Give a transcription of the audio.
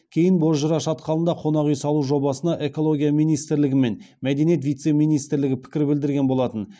кейін бозжыра шатқалында қонақ үй салу жобасына экология министрлігі мен мәдениет вице министрі пікір білдірген болатын